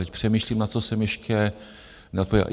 Teď přemýšlím, na co jsem ještě neodpověděl.